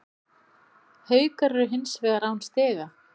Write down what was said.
Haukar eru hins vegar án stiga